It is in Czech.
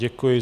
Děkuji.